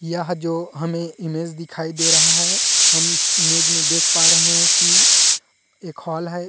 यह जो हमें इमेज दिखाई दे रहा है हम इस इमेज में देख पा रहे है की एक हॉल है।